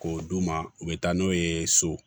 K'o d'u ma u bɛ taa n'o ye so